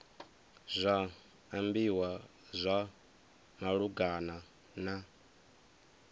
zwa ambiwa zwa malugana na